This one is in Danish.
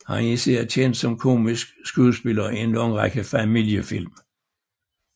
Han er især kendt som komisk skuespiller i en lang række familiefilm